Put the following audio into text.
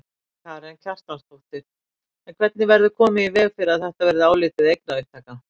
Karen Kjartansdóttir: En hvernig verður komið í veg fyrir að þetta verði álitið eignaupptaka?